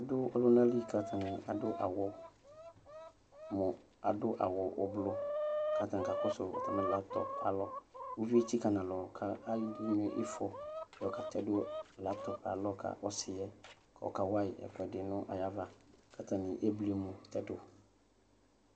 Adʋ ɔlʋnali kʋ atani adʋ awʋ ʋblʋ kʋ atani kakɔsʋ atami laptɔp alɔ ʋvi etsika nʋ alɔ kʋ anyɛ ifɔ yɔ katɛdʋ laptɔp alɔ ka ɔsiyɛ kʋ akawayi ɛkʋdi nʋ ayʋ ava kʋ atani ebli emʋ tɛdʋ